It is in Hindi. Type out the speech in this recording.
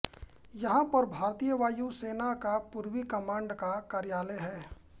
यहां पर भारतीय वायु सेना का पूर्वी कमांड का कार्यलय है